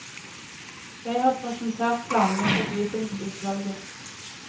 Jeg har presentert planene for bydelsutvalget.